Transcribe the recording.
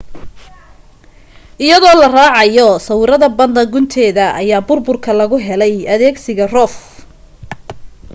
iyadoo la raacayo sawirada badda gunteeda ayaa burburka lagu helay adeegsiga rov